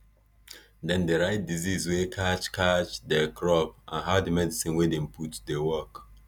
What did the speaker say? dem dey write disease wey catch catch diir crop and how di medicine wey dem put dey work